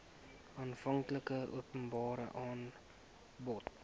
aanvanklike openbare aanbod